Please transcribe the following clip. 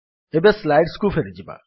ଏବେ ସ୍ଲାଇଡ୍ସ କୁ ଫେରିଯିବା